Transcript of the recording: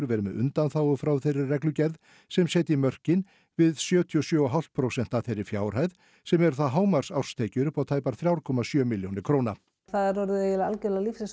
verið með undanþágu frá þeirri reglugerð sem setji mörkin við sjötíu og sjö komma fimm prósent af þeirri fjárhæð sem eru þá hámarks árstekjur upp á tæpar þrjú komma sjö milljónir króna það er orðið eiginlega lífsins